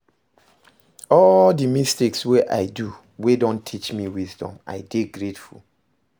All di mistakes wey I do wey don teach me wisdom, I dey grateful